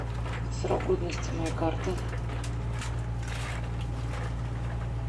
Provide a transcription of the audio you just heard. срок годности моей карты